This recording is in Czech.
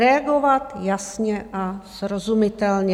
Reagovat jasně a srozumitelně.